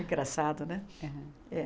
Engraçado, né?